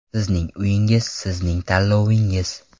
Sizning uyingiz sizning tanlovingiz!